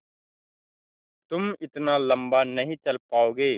तुम इतना लम्बा नहीं चल पाओगे